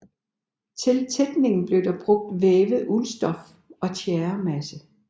Til tætningen blev der brugt vævet uldstof og tjæremasse